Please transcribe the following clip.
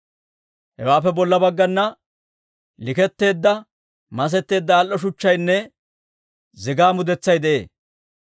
Hewaappe bolla baggana likkettiide masetteedda al"o shuchchaynne zigaa mudetsay de'ee.